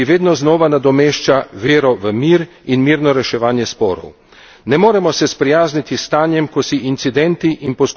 Ne moremo se sprijazniti s stanjem, ko si incidenti in poskusi reševanja napetosti sledijo v stalnem, zlohotnem zaporedju.